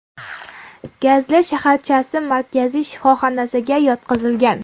Gazli shaharchasi markaziy shifoxonasiga yotqizilgan.